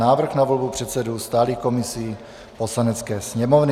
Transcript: Návrh na volbu předsedů stálých komisí Poslanecké sněmovny